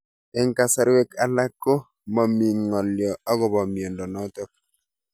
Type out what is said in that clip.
Eng'kasarwek alak ko mami ng'alyo akopo miondo notok